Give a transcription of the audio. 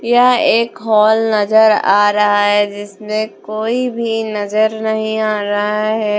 यह एक हॉल नजर आ रहा है जिसमें कोई भी नजर नहीं आ रहा है ।